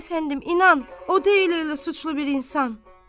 Aman əfəndim, inan, o deyil elə suçlu bir insan.